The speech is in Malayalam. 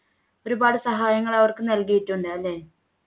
ഒരുപാട് സഹായങ്ങൾ അവർക്ക് നൽകിയിട്ടുണ്ട് അല്ലേ